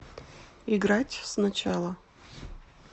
играть сначала